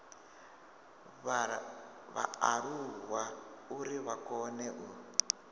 vhaaluwa uri vha kone u